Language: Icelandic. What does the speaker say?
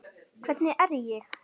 Hvernig er ég?